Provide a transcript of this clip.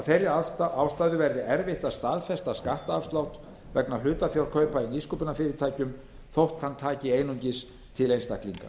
þeirri ástæðu verði erfitt að staðfesta skattafslátt vegna hlutafjárkaupa í nýsköpunarfyrirtækjum þótt hann taki einungis til einstaklinga